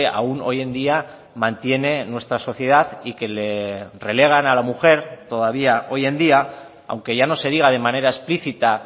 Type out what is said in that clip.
aún hoy en día mantiene nuestra sociedad y que le relegan a la mujer todavía hoy en día aunque ya no se diga de manera explícita